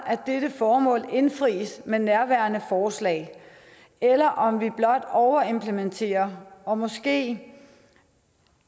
dette formål indfris med nærværende forslag eller om vi blot overimplementerer og måske